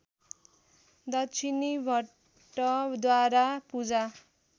दक्षिणी भट्टद्वारा पूजा